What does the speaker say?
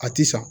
A ti san